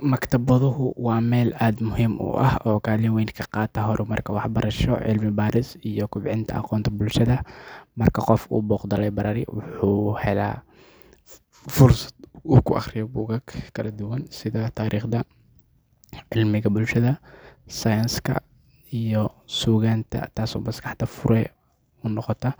Maktabaduhu waa meel aad u muhiim ah oo kaalin weyn ka qaata horumarka waxbarasho, cilmi-baaris, iyo kobcinta aqoonta bulshada. Marka qof uu booqdo library, wuxuu helayaa fursad uu ku akhriyo buugaag kala duwan sida taariikhda, cilmiga bulshada, sayniska, iyo suugaanta, taasoo maskaxda fure u noqota.